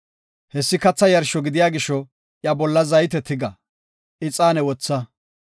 Hessi katha yarsho gidiya gisho iya bolla zayte tiga; ixaane wotha.